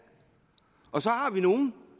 så har vi nogle